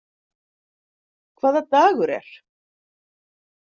Hvaða dagur er?